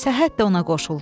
Səhhət də ona qoşuldu.